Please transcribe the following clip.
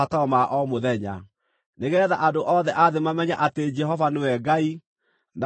nĩgeetha andũ othe a thĩ mamenye atĩ Jehova nĩwe Ngai, na gũtirĩ ũngĩ take.